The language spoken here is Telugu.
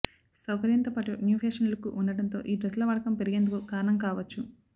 సౌకర్యంతోపాటు న్యూఫ్యాషన్ లుక్ ఉండడంతో ఈ డ్రెస్ల వాడకం పెరిగేందుకు కారణం కావచ్చు